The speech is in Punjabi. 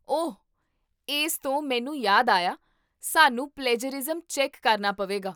ਓਹ ! ਇਸ ਤੋਂ ਮੈਨੂੰ ਯਾਦ ਆਇਆ, ਸਾਨੂੰ ਪਲੈਜਰਿਜ਼ਮ ਚੈਕ ਕਰਨਾ ਪਵੇਗਾ